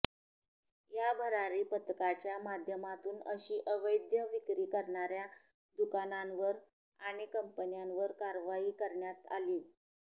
या भरारी पथकाच्या माध्यमातून अशी अवैध विक्री करणाऱ्या दुकानांवर आणि कंपन्यांवर कारवाई करण्यात आलीय